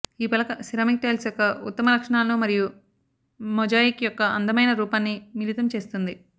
ఈ పలక ceramic tiles యొక్క ఉత్తమ లక్షణాలను మరియు మొజాయిక్ యొక్క అందమైన రూపాన్ని మిళితం చేస్తుంది